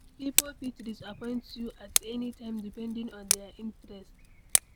Pipo fit disappoint you at any time depending on their interest